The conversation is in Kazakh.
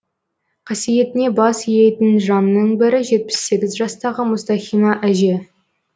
қасиетіне бас иетін жанның бірі жетпіс сегіз жастағы мұстахима әже